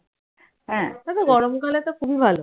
হ্যাঁ ওটা তো গরম কালে তো খুবই ভালো।